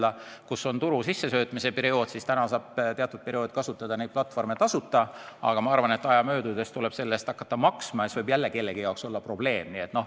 Praegu, kui on turule sissesöömise aeg, saab teatud perioodil neid platvorme kasutada tasuta, aga küllap aja möödudes tuleb selle eest hakata maksma ja siis võib see kellegi jaoks probleem olla.